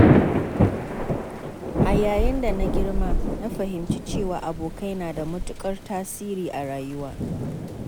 A yayin da na girma na fahimci cewa abokai nada matuƙar tasiri a rayuwata.